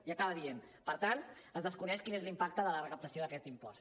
i acaba dient per tant es desconeix quin és l’impacte de la recaptació d’aquest impost